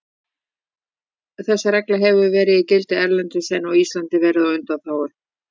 Þessi regla hefur verið í gildi erlendis en Ísland verið á undanþágu.